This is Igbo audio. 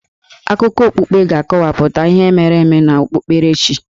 Akụkọ okpukpe ga-akọwapụta ihe mere eme n'okpukperechi.